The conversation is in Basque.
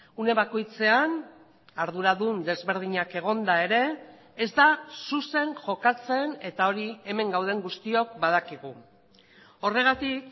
une bakoitzean arduradun desberdinak egonda ere ez da zuzen jokatzen eta hori hemen gauden guztiok badakigu horregatik